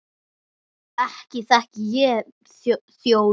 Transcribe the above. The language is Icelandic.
Ekki þekki ég þjó þennan.